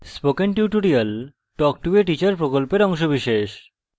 spoken tutorial talk to a teacher প্রকল্পের অংশবিশেষ